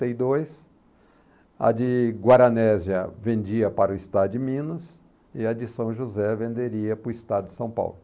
trinta e dois, a de Guaranésia vendia para o estado de Minas e a de São José venderia para o estado de São Paulo.